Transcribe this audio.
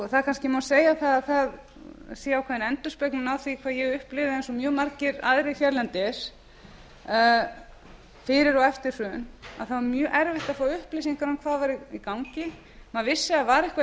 ár það má kannski segja að það sé ákveðin endurspeglun á því hvað ég upplifi eins og mjög margir aðrir hérlendis fyrir og eftir hrun þá er mjög erfitt að fá upplýsingar um hvað er í gangi maður vissi að það var eitthvað